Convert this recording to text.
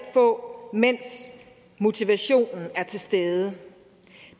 få mens motivationen er til stede